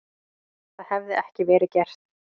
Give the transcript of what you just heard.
Það hefði ekki verið gert.